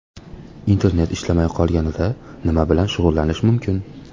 Internet ishlamay qolganida nima bilan shug‘ullanish mumkin?.